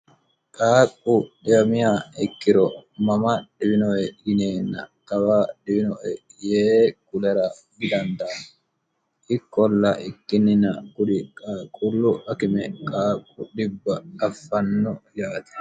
qaaqu dhiyamiya ekkiro mama dhiwinohe yinenna kawa dhiwino yee kulara didandano ikkolla ikkinnina kuri qaaqullu akime qaaqqu dhibba affanno yaati